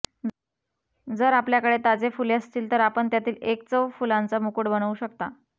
जर आपल्याकडे ताजे फुले असतील तर आपण त्यातील एक चव फुलांचा मुकुट बनवू शकता